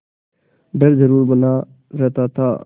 डर जरुर बना रहता था